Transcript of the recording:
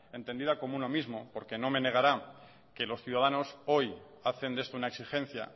entendida como uno mismo porque no me negará que los ciudadanos hoy hacen de esto una exigencia